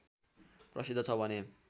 प्रसिद्ध छ भने